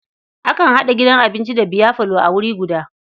Akan haɗa gidan abinci da biyafalo a wuri guda.